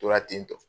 Tora tentɔ